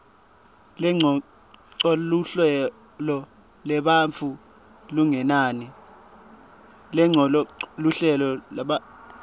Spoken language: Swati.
lengcocoluhlolo lebantfu lokungenani